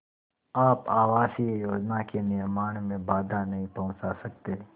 आप आवासीय योजना के निर्माण में बाधा नहीं पहुँचा सकते